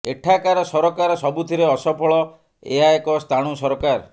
ଏଠାକାର ସରକାର ସବୁଥିରେ ଅସଫଳ ଏହା ଏକ ସ୍ଥାଣୁ ସରକାର